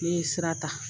Ne ye sira ta